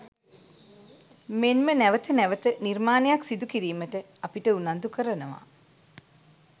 මෙන්ම නැවත නැවත නිර්මාණයක් සිදු කිරීමට අපිට උනන්දු කරනවා.